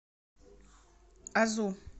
азу